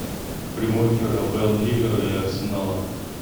прямой эфир апл ливера и арсенала